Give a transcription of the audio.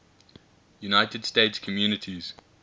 united states communities